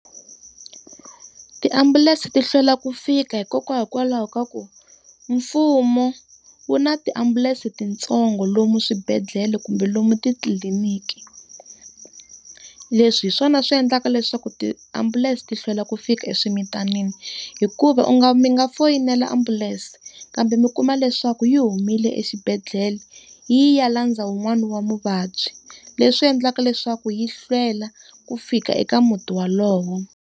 Tiambulense ti hlwela ku fika hikwalaho ka ku mfumo wu na tiambulense tintsongo lomu swibedhlele kumbe lomu titliliniki. Leswi hi swona swi endlaka leswaku tiambulense ti hlwela ku fika eswimitanini. Hikuva u nga mi nga foyinela ambulense kambe mi kuma leswaku yi humile exibedhela, yi ye yi ya landza wun'wani wa muvabyi, leswi endlaka leswaku yi hlwela ku fika eka muti wolowo.